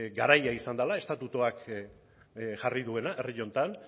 garaia izan dela estatutuak jarri duena herri honetan